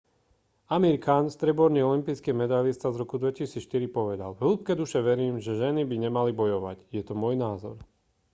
amir khan strieborný olympijský medailista z roku 2004 povedal v hĺbke duše verím že ženy by nemali bojovať je to môj názor